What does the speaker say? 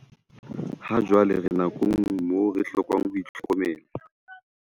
Hajwale re nakong moo re hlokang ho itlhokomela.